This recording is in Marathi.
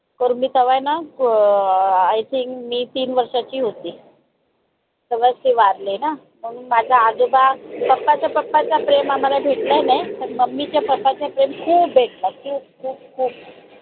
कारन मी तवा आहे न अं I Think मी तीन वर्षाची होती. तेव्हाच ते वारले ना म्हणून माझं आजोबा papa च्या papa च प्रेम आम्हाला भेटला नाय पण mummy च्या papa चा प्रेम खूप भेटला खूप खूप खूप